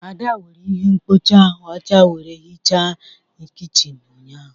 Ada were ihe mkpocha ọcha were hichaa kichin ụnyahụ.